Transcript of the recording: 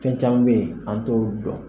Fɛn caman be yen, an t'olu dɔn